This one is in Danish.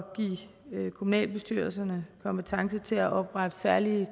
give kommunalbestyrelserne kompetence til at oprette særlige